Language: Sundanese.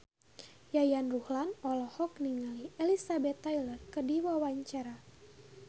Yayan Ruhlan olohok ningali Elizabeth Taylor keur diwawancara